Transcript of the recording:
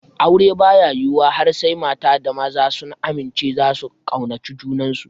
Aure baya yiwuwa har sai mata da maza sun amince zasu kaunaci junansu